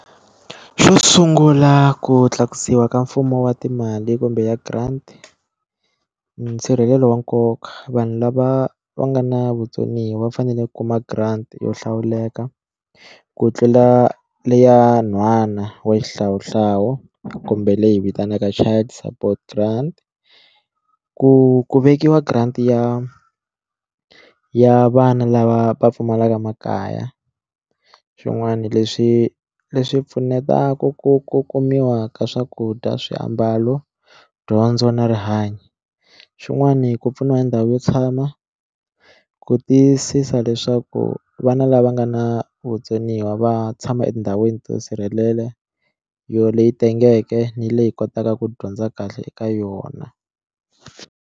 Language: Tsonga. Xo sungula ku tlakusiwa ka mfumo wa timali kumbe ya grant nsirhelelo wa nkoka vanhu lava va nga na vutsoniwa va fanele ku kuma grant yo hlawuleka ku tlula leya nhwana wa xihlawuhlawu kumbe leyi vitaniwaka child support grant ku ku vekiwa grant ya ya vana lava va pfumalaka makaya swin'wana leswi leswi pfunetaka ku ku kumiwa ka swakudya swiambalo dyondzo na rihanyo xin'wani ku pfuniwa ndhawu yo tshama ku tiyisisa leswaku vana lava nga na vutsoniwa va tshama etindhawini to sirhelela yo leyi tengeke ni leyi kotaka ku dyondza kahle eka yona.